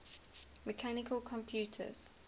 mechanical computers